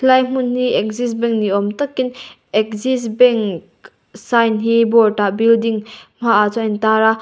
lai hmun hi axis bank ni awm takin axis bank sign hi board ah building hmaah chuan a intar a.